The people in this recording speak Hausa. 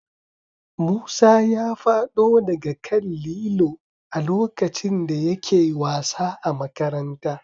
Musa ya fado daga kan Lillo a lokacin da yake wasa a Makaranta